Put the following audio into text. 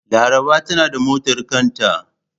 Laraba tanada motar kanta.